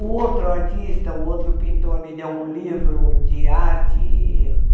O outro artista, o outro pintor, me deu um livro de arte.